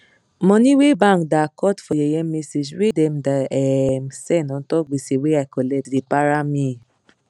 money wey bank da cut for yeye message wey dem da um send untop gbese wey i collect da para me